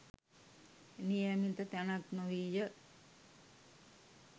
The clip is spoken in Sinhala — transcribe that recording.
නියමිත තැනක් නොවීය.